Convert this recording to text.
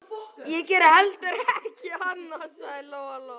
Ég geri heldur ekkert annað, sagði Lóa-Lóa.